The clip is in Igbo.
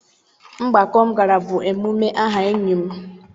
Mgbakọ m gara bụ emume aha enyi m